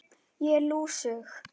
Ég er lúsug.